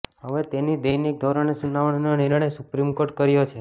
હવે તેની દૈનિક ધોરણે સુનાવણીનો નિર્ણય સુપ્રિમ કોર્ટે કર્યો છે